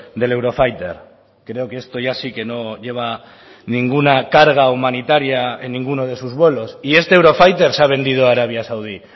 del eurofighter creo que esto ya sí que no lleva ninguna carga humanitaria en ninguno de sus vuelos y este eurofighter se ha vendido a arabia saudí